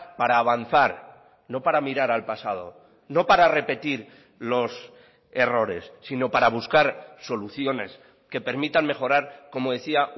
para avanzar no para mirar al pasado no para repetir los errores sino para buscar soluciones que permitan mejorar como decía